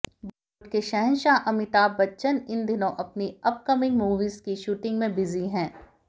बॉलीवुड के शहंशाह अमिताभ बच्चन इन दिनों अपनी अपकमिंग मूवीज की शूटिंग में बिजी हैं